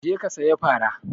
Je ka saya fara!